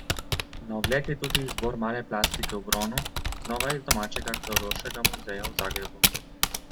Na ogled je tudi izbor male plastike v bronu, znova iz domačega Arheološkega muzeja v Zagrebu.